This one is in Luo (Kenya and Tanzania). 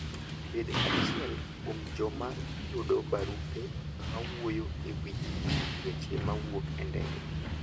Bed achiel kuom joma yudo barupe mawuoyo e wi weche mawuok e ndege.